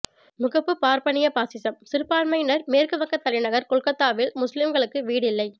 முகப்பு பார்ப்பனிய பாசிசம் சிறுபான்மையினர் மேற்கு வங்க தலைநகர் கொல்கத்தாவில் முசுலீம்களுக்கு வீடில்லை